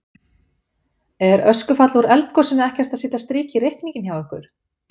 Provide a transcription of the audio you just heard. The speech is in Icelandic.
Er öskufall úr eldgosinu ekkert að setja strik í reikninginn hjá ykkur?